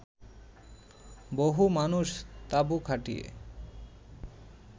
বহু মানুষ তাঁবু খাটিয়ে